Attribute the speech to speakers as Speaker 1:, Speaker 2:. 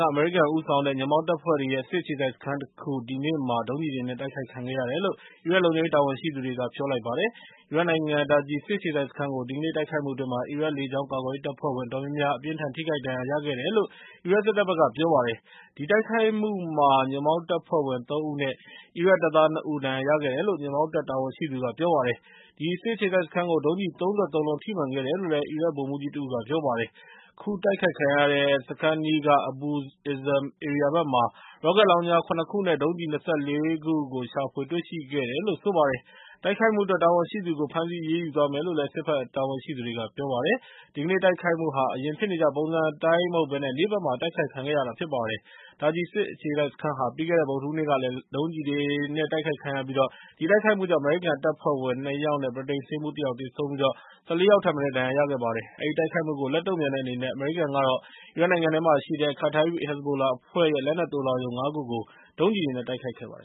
Speaker 1: က အမေရိကန်ဦးဆောင်တဲ့ ညွန့်ပေါင်းတပ်ဖွဲ့တွေရဲ့ စစ်အခြေစိုက်စခန်းတခု ဒီနေ့မှာ ဒုံးကျည်တွေနဲ့ တိုက်ခိုက်ခံခဲ့ရတယ်လို့ အီရတ်လုံခြုံရေး တာဝန်ရှိသူတွေက ပြောလိုက်ပါတယ်။ အီရတ်နိုင်ငံက Taji စစ်အခြေစိုက်စခန်းကို ဒီကနေ့ တိုက်ခိုက်မှုအတွင်း အီရတ်လေကြောင်း ကာကွယ်ရေးတပ်ဖွဲ့ဝင် အတော်များများ အပြင်းအထန် ထိခိုက်ဒဏ်ရာ ရခဲ့ကြတယ်လို့ အီရတ်စစ်တပ်က ပြောပါတယ်။ ဒီတိုက်ခိုက်မှုမှာ ညွန့်ပေါင်းတပ်ဖွဲ့ဝင် ၃ ဦးနဲ့ အီရတ်တပ်သား ၂ ဦး ဒဏ်ရာရခဲ့တယ်လု့ိ ညွန့်ပေါင်းတပ် တာဝန်ရှိသူက ပြောပါတယ်။ အဲဒီစစ်အခြေစိုက်စခန်းကို ဒုံးကျည် ၃၃ လုံး ထိမှန်ခဲ့တယ်လို့ အီရတ် ဗိုလ်မှူးကြီးတဦးက ပြောပါတယ်။ ခုတိုက်ခံရတဲ့ စခန်းအနီးက Abu Izam ဧရိယာဘက်မှာ ရော့ကက်လောင်ချာ ၇ ခုနဲ့ ဒုံးကျည် ၂၄ စင်း ရှာဖွေတေ့ွရှိခဲ့တယ်လို့လည်း ဆိုပါတယ်။ တိုက်ခိုက်မှုအတွက် တာဝန်ရှိသူကို ဖမ်းဆီးအရေးယူသွားမယ်လို့လည်း စစ်ဘက်တာဝန်ရှိသူတွေက ပြောပါတယ်။ ဒီကနေ့တိုက်ခိုက်မှုဟာ အရင်ဖြစ်နေကျ ပုံစံအတိုင်းမဟုတ်ဘဲ နေ့ဘက်မှာ တိုက်ခိုက်ခံရတာ ဖြစ်ပါတယ်။ Taji စစ်အခြေစိုက်စခန်းဟာ ပြီးခဲ့တဲ့ဗုဒ္ဓဟူးနေ့ကလည်း ဒုံးကျည်တွေနဲ့ တိုက်ခိုက်ခံခဲ့ရပြီး အဲဒီတိုက်ခိုက်မှုကြောင့် အမေရိကန်တပ်ဖွဲ့ဝင် ၂ ယောက်နဲ့ ဗြိတိန်ဆေးမှူး ၁ ယောက် သေဆုံးပြီး ၁၄ ယောက်ထက်မနည်း ဒဏ်ရာရခဲ့ပါတယ်။ အဲဒီတိုက်ခိုက်မှုကိုလက်တုံ့ပြန်တဲ့အနေနဲ့ အမေရိကန်က အီရတ်နိုင်ငံမှာရှိတဲ့ Kataib Hezbollah အဖွဲ့ရဲ့ လက်နက်သိုလှောင်ရုံ ၅ ခုကို ဒုံးကျည်တွေနဲ့ တိုက်ခိုက်ခဲ့ပါတယ